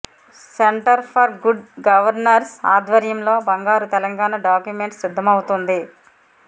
centre for good governance ఆధ్వర్యంలో బంగారు Telangana document సిద్ధమవుతోంది